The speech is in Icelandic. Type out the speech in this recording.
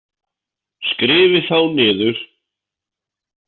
Skrifið þá niður.